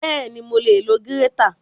Bẹ́ẹ̀ni, mo lè lo gírétà